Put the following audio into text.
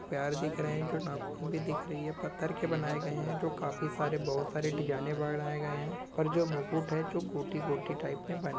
पैर दिख रहे हैं जो नाख़ून भी दिख रही है पत्थर के बना गए हैं जो काफी सारे बहुत सारे डीजाईने बनाए गए हैं पर जो मुकुट है जो गोटी गोटी टाइप मे बन--